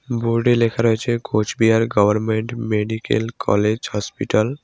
Board -এ লেখা রয়েছে Coochbehar government medical college hospital.